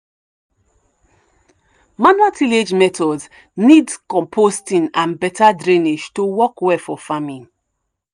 manual tillage methods need composting and better drainage to work well for farming.